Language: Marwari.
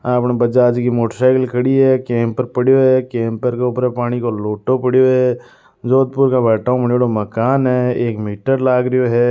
आपन बजाज की मोटरसाइकिल खड़ी है केपर पड्यो है केंप के उपर पानी के लोटो पड्यो है जोधपुर का भाट्टाउ बण्योड़ो मकान है एक मीटर लाग रो है।